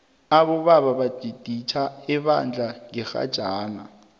abobaba baditjhe ebandla ngerhajana